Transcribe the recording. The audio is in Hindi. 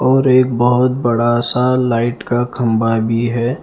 और एक बहुत बड़ा सा लाइट का खंभा भी है ।